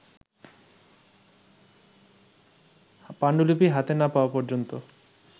পাণ্ডুলিপি হাতে না-পাওয়া পর্যন্ত